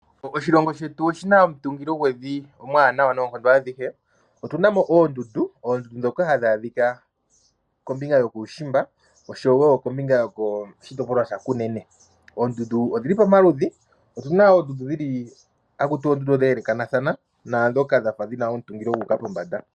Oshilongo shetu oshi na omutungilo gwevi omuwanawa noonkondo adhihe. Otunamo oondundu dhoka hadhi adhika kombinga yokuushimba oshowo kombinga yoshitopolwa shaKunene. Oondundu odhili pamaludhi, opu na oondundu dheelekathana naadhoka dhina omutungilo gwafa gu uka pombanda.